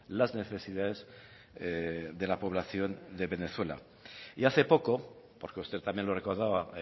las necesidades de la población de venezuela y hace poco porque usted también lo recordaba